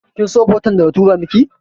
Kinso foton da na tura miki?